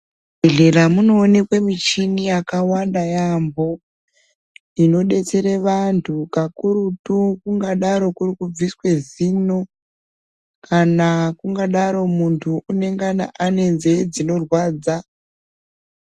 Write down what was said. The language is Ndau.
Muzvibhehlera munoonekwa michini yakawanda yaamho inodetsera vantu kakurutu kungadaro kuri kubviswa zino kana kungadaro muntu unengana une nzee dzinorwadza.